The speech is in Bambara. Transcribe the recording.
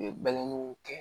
U ye balaniw kɛ